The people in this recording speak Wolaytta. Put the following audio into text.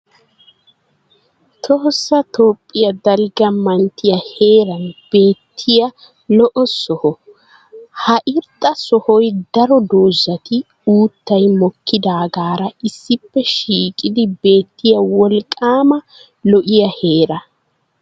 Tohossa Toophiya dalgga manttiya heeran beetiya lo'o soho. Ha irxxa sohoy daro dozati uuttay mokkidaagara issippe shiiqidi beettiya wolqaama lo'ya heera.